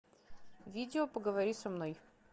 видео поговори со мной